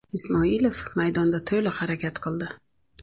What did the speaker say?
Ismoilov maydonda to‘liq harakat qildi.